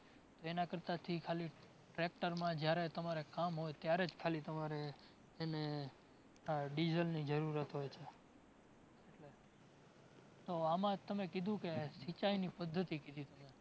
તો એના કરતાથી ખાલી tractor માં જ્યારે તમારે કામ હોય ત્યારે જ ખાલી તમારે એને આહ Diesel ની જરૂરત હોય છે. તો આમાં તમે કીધું કે, સિંચાઈની પદ્ધતિ કીધી તમે